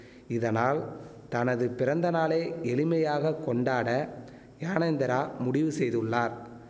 இதனால் தனது பிறந்த நாளை எளிமையாக கொண்டாட யானேந்திரா முடிவு செய்துள்ளார்